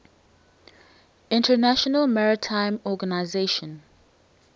international maritime organization